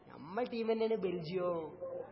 ഞമ്മളെ ടീമു തന്നെയാണ് ബെൽജിയം